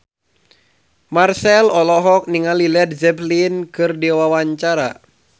Marchell olohok ningali Led Zeppelin keur diwawancara